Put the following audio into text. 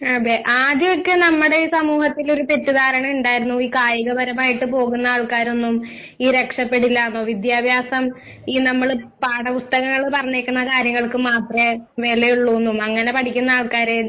ആഹ് അതെ ആദ്യം ഒക്കെ നമ്മുടെ ഈ സമൂഹത്തിലൊരു തെറ്റുദ്ധാരണയുണ്ടായിരുന്നു ഈ കായികപരമായിട്ട് പോകുന്ന ആൾക്കാരൊന്നും ഈ രക്ഷപെടില്ലാന്ന്. വിദ്യാഭാസം ഈ നമ്മള് പാഠപുസ്തകങ്ങള് പറഞ്ഞേക്കുന്ന കാര്യങ്ങൾക്ക് മാത്രേ വിലയുള്ളൂന്നും അങ്ങനെ പഠിക്കുന്ന ആൾക്കാരെ